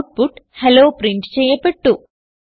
output hello print ചെയ്യപ്പെട്ടു